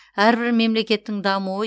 әрбір мемлекеттің дамуы